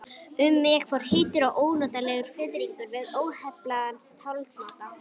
Um mig fór heitur og ónotalegur fiðringur við óheflaðan talsmáta